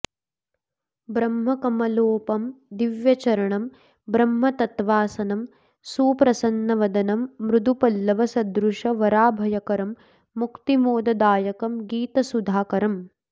ब्रह्मकमलोपम दिव्यचरणं ब्रह्मतत्त्वासनं सुप्रसन्नवदनं मृदु पल्लव सदृश वराभयकरं मुक्तिमोददायकं गीतसुधाकरम्